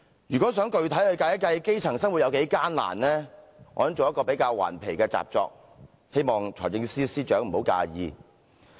如果想具體地計算基層生活有多艱難，我也做了一份比較頑皮的習作，希望財政司司長不要介意。